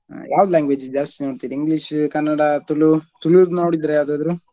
ಯಾವ್ದ್ language ದ್ ಜಾಸ್ತಿ ನೋಡ್ತಿರಿ English ಕನ್ನಡ, ತುಳು, ತುಳುದ್ ನೋಡಿದ್ರಾ ಯಾವ್ದಾದ್ರು?